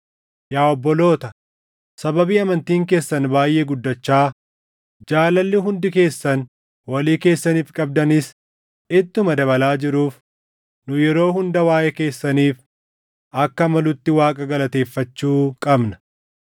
Yaa obboloota, sababii amantiin keessan baayʼee guddachaa, jaalalli hundi keessan walii keessaniif qabdanis ittuma dabalaa jiruuf nu yeroo hunda waaʼee keessaniif akka malutti Waaqa galateeffachuu qabna.